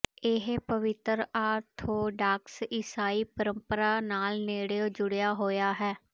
ਇਹ ਪਵਿੱਤਰ ਆਰਥੋਡਾਕਸ ਈਸਾਈ ਪਰੰਪਰਾ ਨਾਲ ਨੇੜਿਓਂ ਜੁੜਿਆ ਹੋਇਆ ਹੈ